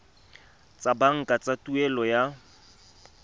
tsa banka tsa tuelo ya